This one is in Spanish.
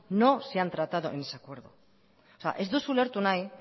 no se han tratado en ese acuerdo ez duzu ulertu nahi